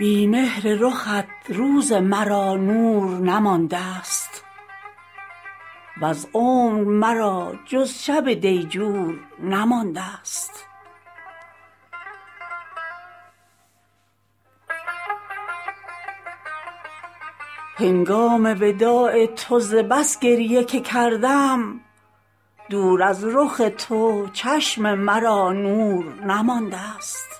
بی مهر رخت روز مرا نور نماندست وز عمر مرا جز شب دیجور نماندست هنگام وداع تو ز بس گریه که کردم دور از رخ تو چشم مرا نور نماندست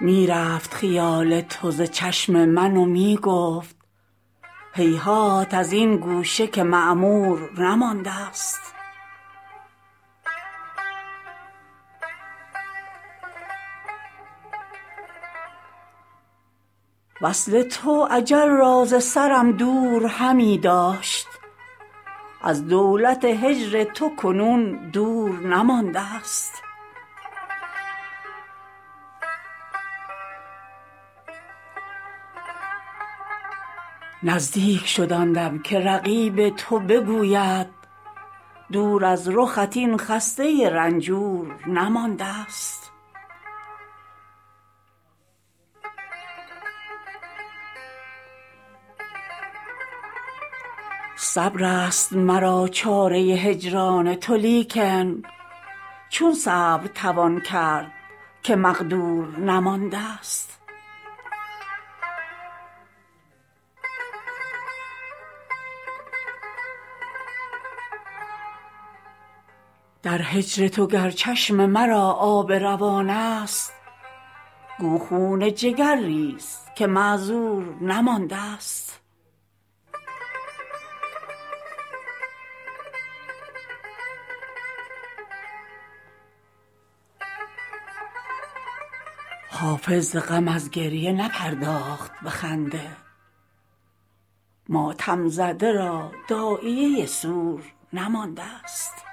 می رفت خیال تو ز چشم من و می گفت هیهات از این گوشه که معمور نماندست وصل تو اجل را ز سرم دور همی داشت از دولت هجر تو کنون دور نماندست نزدیک شد آن دم که رقیب تو بگوید دور از رخت این خسته رنجور نماندست صبر است مرا چاره هجران تو لیکن چون صبر توان کرد که مقدور نماندست در هجر تو گر چشم مرا آب روان است گو خون جگر ریز که معذور نماندست حافظ ز غم از گریه نپرداخت به خنده ماتم زده را داعیه سور نماندست